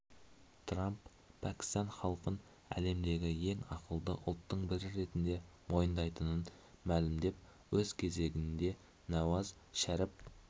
трамп пәкістан халқын әлемдегі ең ақылды ұлттың бірі ретінде мойындайтынын мәлімдеп өз кезегінде науаз шәріп